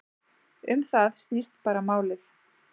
Um það snýst bara málið.